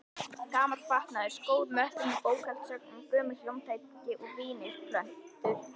Gamall fatnaður, skór, möppur með bókhaldsgögnum, gömul hljómtæki og vínyl-plötur.